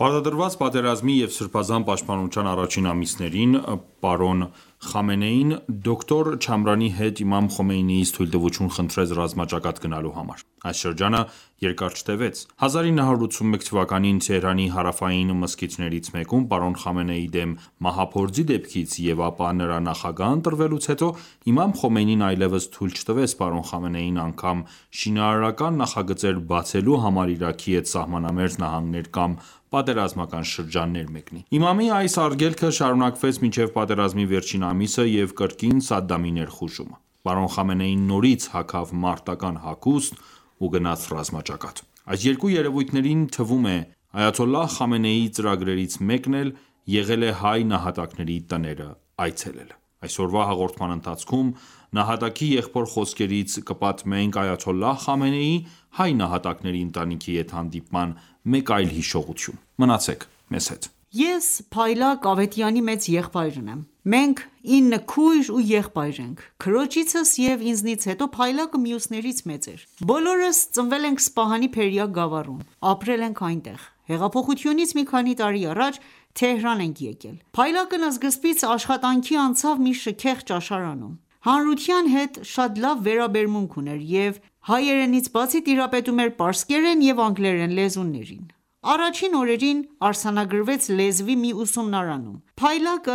Պարտադրված պատերազմի և Սրբազան պաշտպանության առաջին ամիսներն էին: Պրն. Խամենեին դոկտոր Չամրանի հետ իմամ Խոմեյնիից թույլտվություն խնդրեց ռազմաճակատ գնալու համար: Այս շրջանը երկար չտեւեց. 1981 թվականին Թեհրանի հարավային մզկիթներից մեկում պարոն Խամենեիի դեմ մահափորձի դեպքից և ապա նրա նախագահ ընտրվելուց հետո Իմամ Խոմեյնին այլևս թույլ չտվեց պարոն Խամենեիին անգամ շինարարական նախագծեր բացելու համար Իրաքի հետ սահմանամերձ նահանգներ կամ պատերազմական շրջաններ մեկնի։ Իմամի այս արգելքը շարունակվեց մինչև պատերազմի վերջին ամիսը և կրկին Սադամի ներխուժումը։ Պարոն Խամենեին նորից հագավ մարտական ​​հագուստ ու գնաց ռազմաճակատ։ Այս երկու երևույթների թվում Այաթոլլահ Խամենեիի ծրագրերից մեկն էլ եղել է հայ նահատակների տները այցելելը: Այսօրվա հաղորդման ընթացքում նահատակի եղբոր խոսքերից կպատմենք Այաթոլլահ Խամենեիի՝ հայ նահատակների ընտանիքի հետ հանդիպման մեկ այլ հիշողություն: Մնացեք մեզ հետ։ Ես Փայլակ Ավետյանի մեծ եղբայրն եմ: Մենք ինը քույր ու եղբայր ենք: Քրոջիցս և ինձնից հետո, Փայլակը մյուսներից մեծ էր: Բոլորս ծնվել ենք Սպահանի Փերիա գավառում: Ապրել ենք այնտեղ: Հեղափոխությունից մի քանի առաջ Թեհրան ենք եկել: Փայլակն սկզբից աշխատանքի անցավ մի շքեղ ճաշարանում: Հանրության հետ շատ լավ վերաբերմունք ուներ և հայերենից բացի, տիրապետում էր պարսկերեն և անգլերեն լեզուներին: Առաջին օրերին, արձանագրվեց լեզվի մի ուսումնարանում: Փայլակը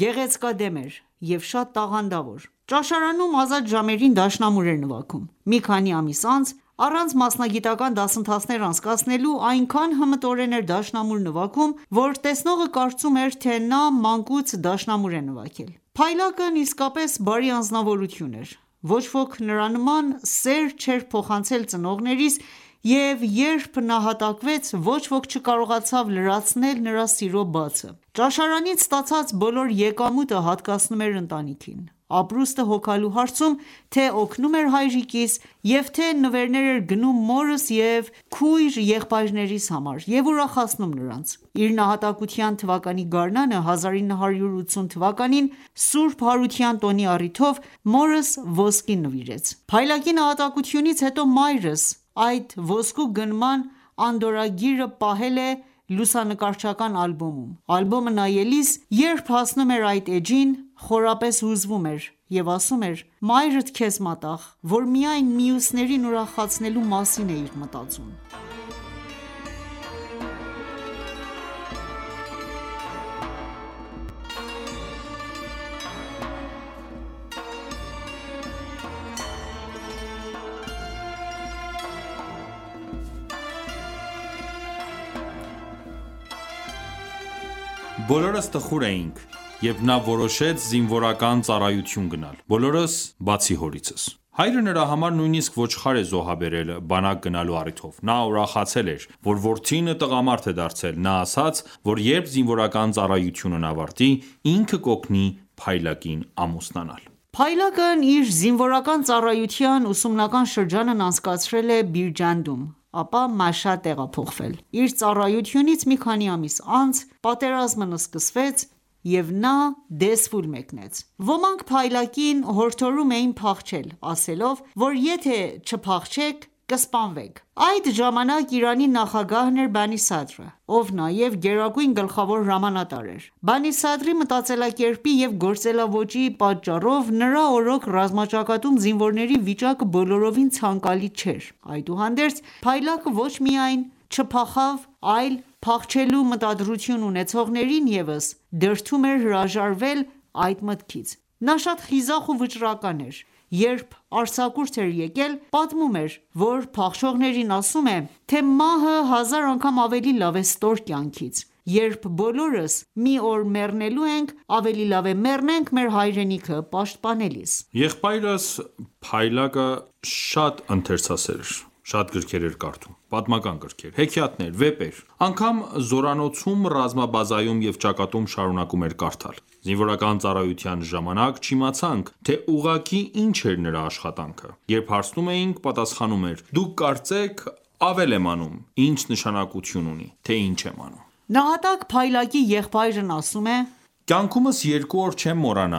գեղեցկադեմ էր և շատ տաղանդավոր: Ճաշարանում ազատ ժամերին դաշնամուր էր նվագում: Մի քանի ամիս անց, առանց մասնագիտական դասընթացներ անցկացնելու, այնքան հմտորեն էր դաշնամուր նվագում, որ տեսնողը կարծում էր, թե նա մանկուց դաշնամուր է նվագել: Փայլակն իսկապես բարի անձնավորություն էր: Ոչ-ոք նրա նման սեր չի փոխանցել ծնողներիս և երբ նահատակվեց, ոչ-ոք չկարողացավ լրացնել նրա սիրո բացը: Ճաշարանից ստացած բոլոր եկամուտը հատկացնում էր ընտանիքին: Ապրուստը հոգալու հարցում, թե օգնում էր հայրիկիս և թե նվերներ էր գնում մորս և քույր-եղբայրներիս համար և ուրախացնում նրանց: Իր նահատակության թվականի գարնանը, 1980 թվականին, Ս. Հարության տոնի առիթով մորս ոսկի նվիրեց: Փայլակի նահատակությունից հետո, մայրս այդ ոսկու գնման անդորրագիրը պահել է լուսանկարչական ալբոմում: Ալբոմը նայելիս, երբ հասնում էր այդ էջին, խորապես հուզվում և ասում էր. «Մայրդ քեզ մատաղ, որ միայն մյուսներին ուրախացնելու մասին էիր մտածում»: Բոլորս տխուր էինք, երբ նա որոշեց զինվորական ծառայության գնալ, բոլորս, բացի հորիցս: Հայրը նրա համար նույնիսկ ոչխար է զոհաբերել բանակ գնալու առիթով: Նա ուրախացել էր, որ որդին տղամարդ է դարձել։ Նա ասաց, որ երբ զինվորական ծառայությունն ավարտվի, ինքը կօգնի Փայլակին ամուսնանալ։ Փայլակն իր զինվորական ծառայության ուսումնական շրջանն անցկացրել է Բիրջանդում, ապա Մաշհադ տեղափոխվել: Իր ծառայությունից մի քանի ամիս անց, պատերազմն սկսվեց և նա Դեզֆուլ մեկնեց: Ոմանք Փայլակին հորդորում էին փախչել, ասելով, որ եթե չփախչենք, կսպանվենք: Այդ ժամանակ Իրանի նախագահն էր Բանի Սադրը, ով նաև գերագույն գլխավոր հրամանատար էր: Բանի Սադրի մտածելակերպի և գործելաոճի պատճառով, նրա օրոք ռազմաճակատում զինվորների վիճակը բոլորովին ցանկալի չէր: Այդուհանդերձ Փայլակը ոչ միայն չփախավ, այլ փախչելու մտադրություն ունեցողներին ևս դրդում էր հրաժարվել այդ մտքից: Նա շատ խիզախ ու վճռական էր: Երբ արձակուրդ էր եկել, պատմում էր, որ փախչողներին ասում է, թե մահը հազար անգամ ավելի լավ է ստոր կյանքից: Երբ բոլորս մի օր մեռնելու ենք, ավելի լավ է մեռնենք մեր հայրենիքը պաշտպանելիս: Եղբայրս Փայլակը շատ ընթերցասեր էր: Շատ գրքեր էր կարդում, պատմական գրքեր, հեքիաթներ, վեպեր: Անգամ զորանոցում, ռազմաբազայում և ճակատում շարունակում էր կարդալ: Զինվորական ծառայության ժամանակ չիմացանք, թե ուղղակի ինչ էր նրա աշխատանքը: Երբ հարցնում էինք, պատասխանում էր՝ Դուք կարծեք ավել եմ անում, ինչ նշանակություն ունի, թե ինչ եմ անում: «Կյանքումս երկու օր չեմ մոռանա.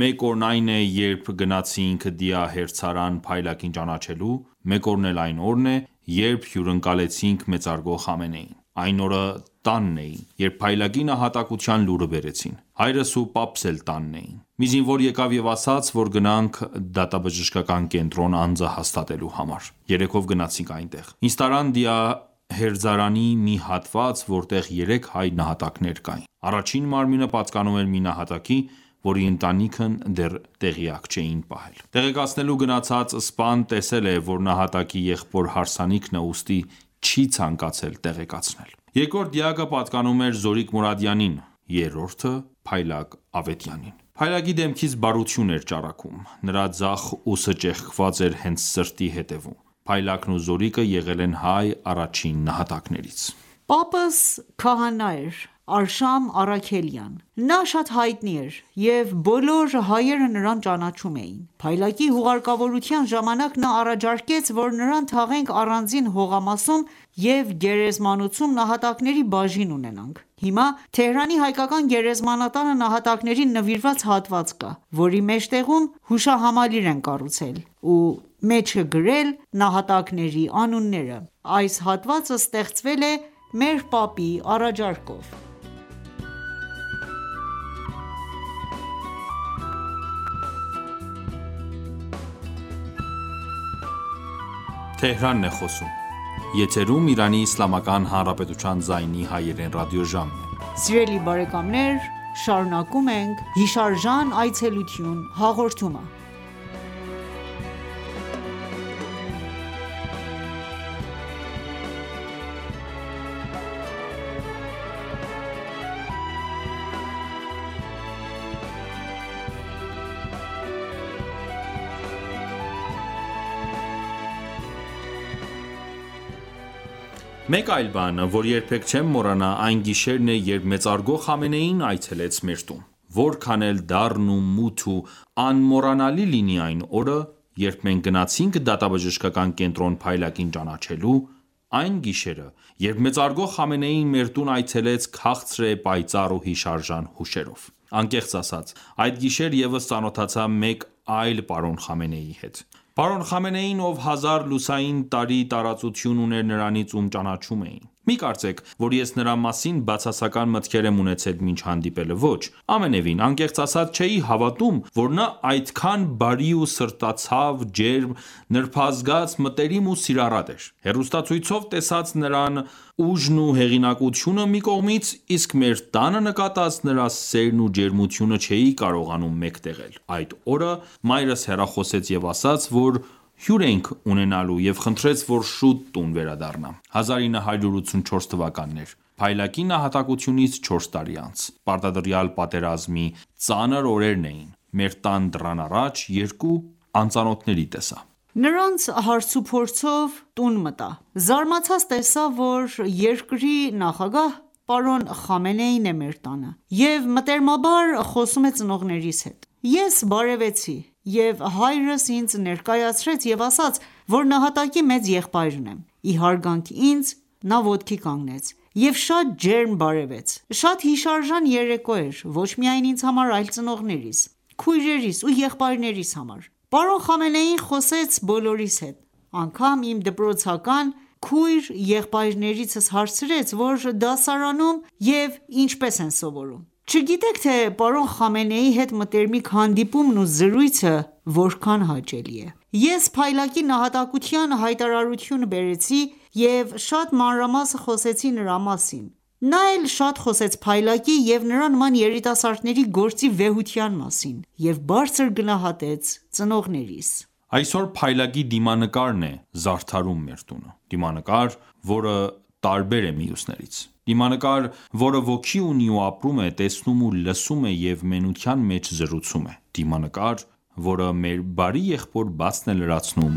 Մեկ օրն այն է, երբ գնացինք դիահերձարան Փայլակին ճանաչելու, մեկ օրն էլ այն օրն է, երբ հյուրընկալեցինք մեծարգո Խամենեիին: Այն օրը տանն էի, երբ Փայլակի նահատակության լուրը բերեցին։ Հայրս ու պապս էլ տանն էին: Մի զինվոր եկավ և ասաց, որ գնանք դատաբժշկական կենտրոն անձը հաստատելու համար։ Երեքով գնացինք այնտեղ։ Ինձ տարան դիահերձարանի մի հատված, որտեղ երեք հայ նահատակներ կային։ Առաջին մարմինը պատկանում էր մի նահատակի, որի ընտանիքին դեռ տեղյակ չէին պահել: Տեղեկացնելու գնացած սպան տեսել է, որ նահատակի եղբոր հարսանիքն է, ուստի չի ցանկացել տեղեկացնել։ Երկրորդ դիակը պատկանում էր Զորիկ Մուրադյանին, երրորդը՝ Փայլակ Ավետյանին։ Փայլակի դեմքից բարություն էր ճառագում։ Նրա ձախ ուսը ճեղքված էր հենց սրտի ետևում։ Փայլակն ու Զորիկը եղել են հայ առաջին նահատակներից»։ Պապս քահանա էր՝ Արշամ Առաքելյան: Նա շատ հայտնի էր, և բոլոր հայերը նրան ճանաչում էին։ Փայլակի հուղարկավորության ժամանակ նա առաջարկեց, որ նրան թաղենք առանձին հողամասում և գերեզմանոցում նահատակների բաժին ունենանք: Հիմա, Թեհրանի հայկական գերեզմանատանը նահատակներին նվիրված հատված կա, որի մեջտեղում հուշահամալիր են կառուցել ու մեջը գրել նահատակների անունները։ Այս հատվածը ստեղծվել է մեր պապի առաջարկով։ Մեկ այլ բան, որը երբեք չեմ մոռանա, այն գիշերն է, երբ մեծարգո Խամենեին այցելեց մեր տուն: Որքան էլ դառն ու մութ ու անմոռանալի լինի այն օրը, երբ մենք գնացինք դատաբժշկական կենտրոն Փայլակին ճանաչելու, այն գիշերը, երբ մեծարգո Խամենեիին մեր տուն այցելեց քաղցր է, պայծառ ու հիշարժան հուշերով: Անկեղծ ասած, այդ գիշեր ես ծանոթացա մեկ այլ պրն. Խամենեիի հետ։ Պարոն Խամենեին, ով հազար լուսային տարի տարածություն ուներ նրանից ում ճանաչում էի ։ Մի կարծեք, որ ես նրա մասին բացասական մտքեր եմ ունեցել մինչ հանդիպելը, ոչ։ Ամենևին, անկեղծ ասած, չէի հավատում, որ նա այդքան բարի ու սրտացավ, ջերմ, նրբազգաց, մտերիմ ու սիրառատ էր։ Հեռուստացույցով տեսած նրա ուժն ու հեղինակությունը մի կողմից, իսկ մեր տանը նկատած նրա սերն ու ջերմությունը չէի կարողանում մեկտեղել: Այդ օրը մայրս հեռախոսեց և ասաց, որ հյուր ենք ունենալու և խնդրեց, որ շուտ տուն վերադառնամ: 1984 թվականն էր:Փայլակի նահատակությունից չորս տարի անց, Պարտադրյալ պատերազմի ծանր օրերն էին: Մեր տան դռան առաջ, երկու անծանոթների տեսա: Նրանց հարց ու փորձով տուն մտա: Զարմացած տեսա, որ երկրի նախագահ՝ պրն. Խամենեին է մեր տանը և մտերմաբար խոսում է ծնողներիս հետ: Ես բարևեցի և հայրս ինձ ներկայացրեց և ասաց, որ նահատակի մեծ եղբայրն եմ: Ի հարգանք ինձ, նա ոտքի կանգնեց և շատ ջերմ բարևեց: Շատ հիշարժան երեկո էր ոչ միայն ինձ համար, այլ ծնողներիս, քույրերիս ու եղբայրնեիս համար: Պրն. Խամենեին խոսեց բոլորիս հետ: Անգամ իմ դպրոցական քույր-եղբայրներից հարցրեց, որ դասարանում և ինչպես են սովորում: Չգիտեք թե պրն. Խամենեիի հետ մտերմիկ հանդիպումն ու զրույցը որքան հաճելի է: Ես Փայլակի նահատակության հայտարարությունը բերեցի և շատ մանրամասն խոսեցի նրա մասին: Նա էլ շատ խոսեց Փայլակի և նրա նման երիտասարդների գործի վեհության մասին և բարձր գնահատեց ծնողներիս: Այսօր Փայլակի դիմանկարն է զարդարում մեր տունը: Դիմանկար, որ տարբեր է մյուսներից: Դիմանկար, որը ոգի ունի ու ապրում է, տեսնում ու լսում է և մենության մեջ զրուցում է: Դիմանկար, որը մեր բարի եղբոր բացն է լրացնում